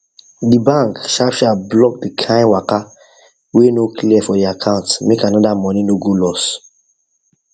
the bank sharp sharp block the kain waka wey no clear for the account make anoda money no go loss